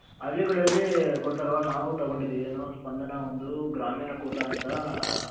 ಹಳ್ಳಿಗಳಲ್ಲಿ ಕೊಡ್ತಾರೆ ಅಲ್ವ ನಾವು ತಗೊಂಡ್ ಇದಿವಿ ಏನು ಸ್ಪಂದನ ಒಂದು ಗ್ರಾಮೀಣ ಕೂಟ ಅಂತ ಮತ್ತೆ